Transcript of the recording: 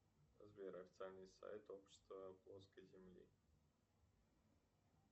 сбер официальный сайт общества плоской земли